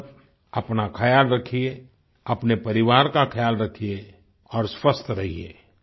आप सब अपना ख्याल रखिये अपने परिवार का ख्याल रखिये और स्वस्थ रहिए